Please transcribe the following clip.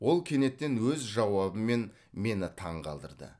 ол кенеттен өз жауабымен мені таңғалдырды